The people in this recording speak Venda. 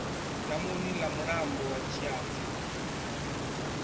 damuni ḽa mulambo wa tshianzhe